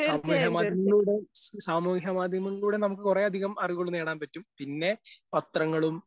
സാമൂഹ്യ മാധ്യമങ്ങളിലൂടെ സാമൂഹ്യ മാധ്യമങ്ങളിലൂടെ നമുക്ക് കുറേയധികം അറിവുകൾ നേടാൻ പറ്റും. പിന്നെ പത്രങ്ങളും